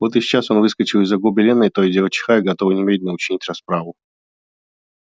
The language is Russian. вот и сейчас он выскочил из-за гобелена то и дело чихая готовый немедленно учинить расправу